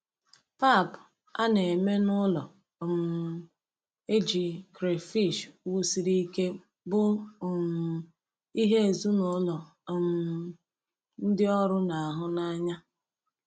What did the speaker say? Pap a na-eme n'ụlọ um e ji crayfish wusiri ike bụ um ihe ezinụlọ um ndị ọrụ na-ahụ n'anya.